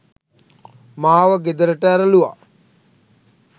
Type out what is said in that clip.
මාව ගෙදරට ඇරලූවා.